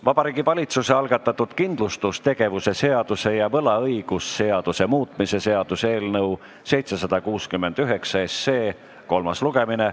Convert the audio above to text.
Vabariigi Valitsuse algatatud kindlustustegevuse seaduse ja võlaõigusseaduse muutmise seaduse eelnõu 769 kolmas lugemine.